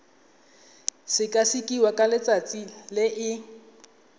sekasekiwa ka letsatsi le e